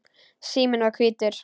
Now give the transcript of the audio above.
Síminn var hvítur.